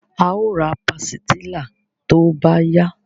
A o ra pàsìtílà tó bá yá